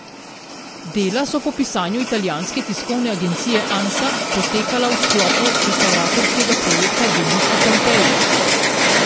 Dela so po pisanju italijanske tiskovne agencije Ansa potekala v sklopu restavratorskega projekta Veliki Pompeji.